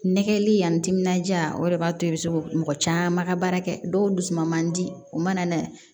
Nɛgɛli yan timinandiya o de b'a to i be se mɔgɔ caman ka baara kɛ dɔw dusuman man di o mana na